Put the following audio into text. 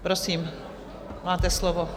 Prosím, máte slovo.